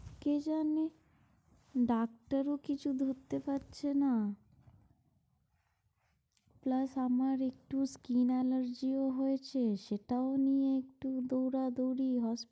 কে জানে, ডাক্তারও কিছু ধরতে পারছে না। plus আমার একটু skin allergy ও হয়েছে rসেটাও নিয়ে একটু দৌড়াদৌড় hospital